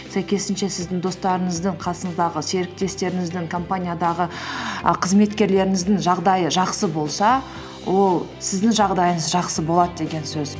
сәйкесінше сіздің достарыңыздың қасыңыздағы серіктестеріңіздің компаниядағы і қызметкерлеріңіздің жағдайы жақсы болса ол сіздің жағдайыңыз жақсы болады деген сөз